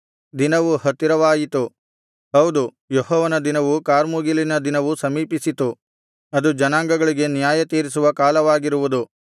ದಿನವು ಹತ್ತಿರವಾಯಿತು ಹೌದು ಯೆಹೋವನ ದಿನವು ಕಾರ್ಮುಗಿಲಿನ ದಿನವು ಸಮೀಪಿಸಿತು ಅದು ಜನಾಂಗಗಳಿಗೆ ನ್ಯಾಯತೀರಿಸುವ ಕಾಲವಾಗಿರುವುದು